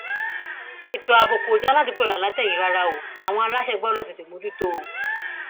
ètò ààbò kò dà ládùgbọọ láǹlàtẹ yìí rárá o àwọn aláṣẹ gbọdọ tètè mójú tó o